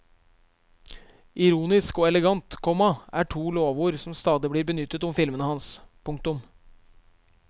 Ironisk og elegant, komma er to lovord som stadig blir benyttet om filmene hans. punktum